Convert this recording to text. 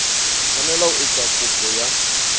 tshwanela ho etsa kopo ya